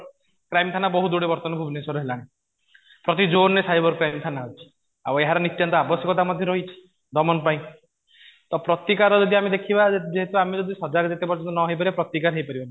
crime ଥାନା ବହୁତ ଗୁଡ଼େ ଏବେ ଭୁବନେଶ୍ୱର ରେ ହେଲାଣି ପ୍ରତି ଜୋନ ରେ ସାଇବର କ୍ରାଇମ ଥାନା ଅଛି ଆଉ ଏହାର ନିତ୍ୟାନ୍ତ ଆବଶ୍ୟକତା ମଧ୍ୟ ରହିଛି ଦମନ ପାଇଁ ତ ପ୍ରତିକାର ଯଦି ଆମେ ଦେଖିବା ଯେହେତୁ ଆମେ ଯଦି ସଜାଗ ଯେତେ ପର୍ଯ୍ୟନ୍ତ ନ ହେଇପାରିବା ପ୍ରତିକାର ହେଇପାରିବନି